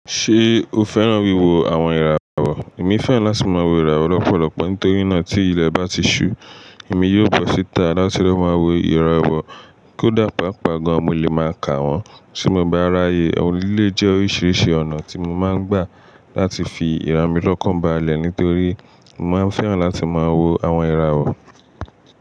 Ṣé o fẹ́ràn wíwo àwọn ìràwọ̀? Èmi fẹ́ràn láti máa wo ìràwọ̀ lọ́pọ̀lọpọ̀ nítorí náà tí ilẹ̀ bá ti ṣú, èmi yóò bọ́ síta láti máa wo ìràwọ̀. Kódà pàápàá gan an mo lè máa ka wọ́n. Tí mo bá ráyè, eleyi jẹ́ oríṣiríṣi ọ̀nà tí mo máa ń gbà láti fi ara mi lọ́kàn balẹ̀ nítorí mo máa ń fẹ́ràn láti máa wo àwọn ìràwọ̀.